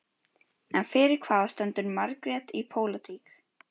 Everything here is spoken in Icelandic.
En fyrir hvað stendur Margrét í pólitík?